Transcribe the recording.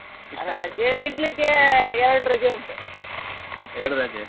ರಜೆ ತಿಂಗ್ಳಿಗೆ ಎರಡ್ ರಜೆ ಉಂಟು ಅಷ್ಟೇ.